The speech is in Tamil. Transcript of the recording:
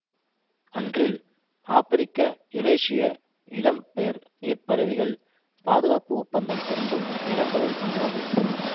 அன்றில் ஆபிரிக்கயுரேசிய இடம்பெயர் நீர் பறவைகள் பாதுகாப்பு ஒப்பந்தம் பொருந்தும் இனங்களுள் ஒன்றாகும்